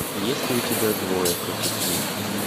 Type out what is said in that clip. есть ли у тебя двое против смерти